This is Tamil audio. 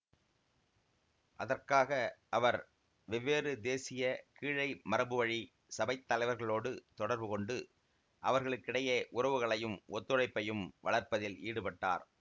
அதற்காக அவர் வெவ்வேறு தேசிய கீழை மரபுவழி சபைத் தலைவர்களோடு தொடர்புகொண்டு அவர்களுக்கிடையே உறவுகளையும் ஒத்துழைப்பையும் வளர்ப்பதில் ஈடுபட்டார்